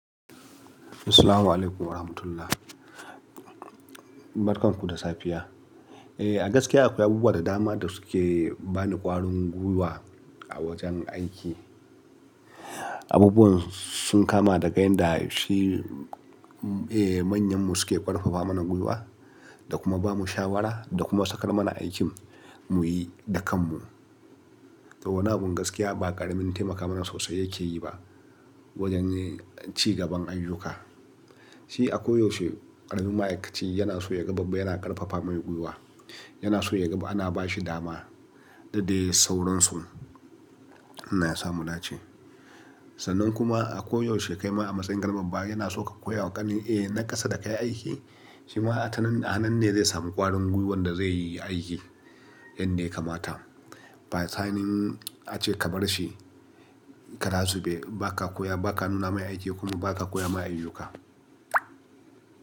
Assalamu alaikum wa rahmatullah. Barkan ku da safiya. Eh, a gaskiya akwai abubuwa da dama da suke bani ƙwarin gwiwa a wajen aiki. Abubuwan sun kama daga yanda shi, eh, manyan mu suke ƙarfafa mana gwiwa, da kuma ba mu shawara, da kuma sakar mana aikin mu yi da kan mu. To, wannan gaskiya ba ƙaramin taimakawa sosai yake yi ba, wajen ci gaban ayyuka. Shi a koyaushe ƙaramin ma'aikaci yana so ya ga babba yana ƙarfafa mai gwiwa, yana so ya ga ana ba shi dama, da dai sauransu, Allah samu dace. Sannan kuma a koyaushe kai ma a matsayin ƙaramin baya yana so ka koya wa ganin, eh, na ƙasa da ka yi aiki, shi ma a nan ne zai samu ƙwarin gwiwan da zai yi aiki yanda ya kamata. Ba sanin ace ka bar shi kara zu be, ba ka koya, ba ka nuna mai aiki kuma ba ka koya ma ayyuka.